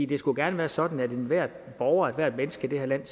det skulle gerne være sådan at enhver borger og ethvert menneske i det her land